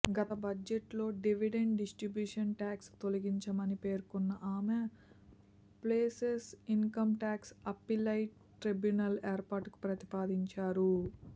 గత బడ్జెట్లో dividend distribution tax తొలగించామని పేర్కొన్న ఆమె ఫేస్లెస్ ఇన్కంట్యాక్స్ అప్పిలైట్ ట్రైబ్యునల్ ఏర్పాటుకు ప్రతిపాదించారు